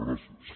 gràcies